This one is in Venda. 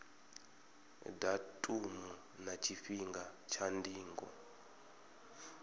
datumu na tshifhinga tsha ndingo